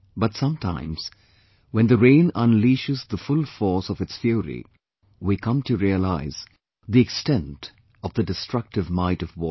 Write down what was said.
But sometimes, when the rain unleashes full force of its fury, we come to realise the extent of the destructive might of water